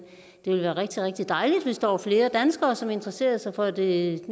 ville være rigtig rigtig dejligt hvis der var flere danskere som interesserede sig for det